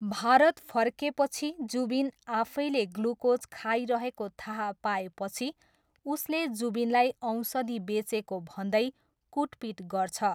भारत फर्केपछि, जुबिन आफैले ग्लुकोज खाइरहेको थाहा पाएपछि उसले जुबिनलाई औषधि बेचेको भन्दै कुटपिट गर्छ।